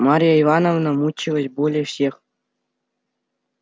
марья ивановна мучилась более всех